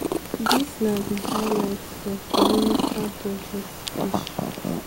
dis na di highlight of di minister budget speech.